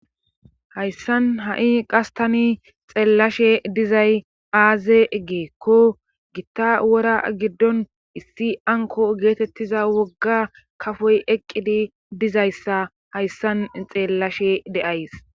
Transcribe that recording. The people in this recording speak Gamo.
hayssan ha7i qas tani xeellashe dizay aaze geekko gitta wora giddon issi anko geetettiza wogga kafoy eqqidi dizayssa hayssan xeellashe deays